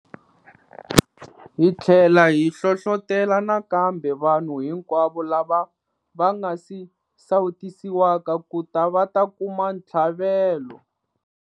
Hi tlhela hi hlohlotela nakambe vanhu hinkwavo lava va nga si sawutisiwaka ku ta va ta kuma ntlhavelo.